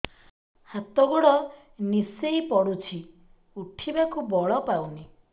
ହାତ ଗୋଡ ନିସେଇ ପଡୁଛି ଉଠିବାକୁ ବଳ ପାଉନି